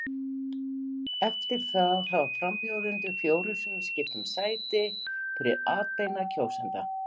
Eftir það hafa frambjóðendur fjórum sinnum skipt um sæti fyrir atbeina kjósenda.